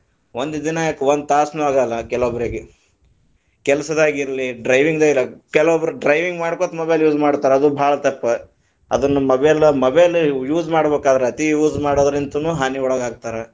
ಒಂದ ದಿನಾ ಯಾಕ ಒಂದ ತಾಸನು ಆಗಲ್ಲಾ, ಕೆಲವೊಬ್ಬರಿಗೆ ಕೆಲಸದಾಗ ಇರ್ಲಿ, driving ದಾಗ ಇರ್ಲಿ ಕೆಲವೊಬ್ಬರಿ driving ಮಾಡ್ಕೋತ mobile use ಮಾಡ್ತಾರ ಅದು ಬಾಳ ತಪ್ಪ, ಅದನ್ನ mobile, mobile use ಮಾಡಬೇಕಾದ್ರ ಅತಿ use ಮಾಡೋದ್ರಿಂತನು ಹಾನಿಗ ಒಳಗ ಆಗ್ತಾರ.